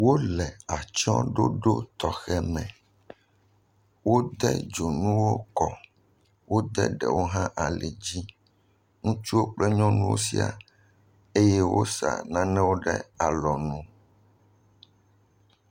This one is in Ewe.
Wole atsyɔɖoɖo tzxe aɖe me, wode dzonuwo kɔ, wode ɖewo hã ali dzi, ŋutsuwo kple nyɔnuwo siaa, eye wosa nanewo ɖe alɔnu.